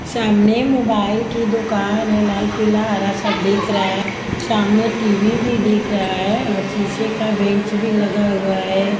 सामने मोबाइल की दुकान है। लाल पीला हरा सब देख रहा है। सामने टी_वी भी देख रहा है और शीशे का बेंच भी लगा हुआ है।